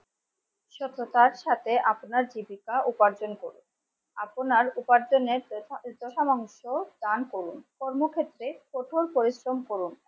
সত্যতার সাথে আপনার জীবিকা উপার্জন করুন আপনার উপার্জনের দান করুন কর্মক্ষেত্রে কঠোর পরিশ্রম করুন